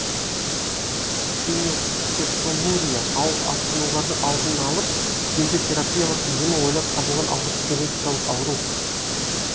фенилкетонурия ауыр асқынулардың алдын алып тиімді терапиялық емі ойлап табылған алғашқы генетикалық ауру